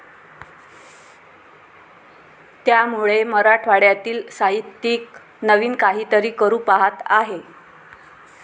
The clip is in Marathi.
त्यामुळे मराठवाड्यातील साहित्यिक नवीन काहीतरी करू पाहत आहे,